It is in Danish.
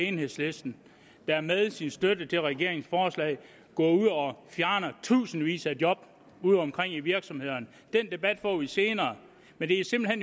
enhedslisten der med sin støtte til regeringens forslag fjerner tusindvis af job udeomkring i virksomhederne den debat får vi senere men det er simpelt